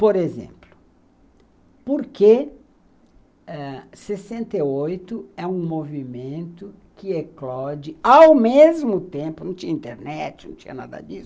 Por exemplo, por que ãh sessenta e oito é um movimento que eclode ao mesmo tempo, não tinha internet, não tinha nada disso,